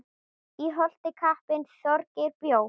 Í Holti kappinn Þorgeir bjó.